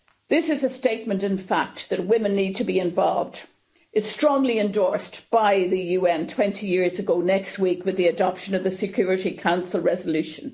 It is a statement of fact that women need to be involved, as strongly endorsed by the UN 20 years ago next week with the adoption of the Security Council resolution.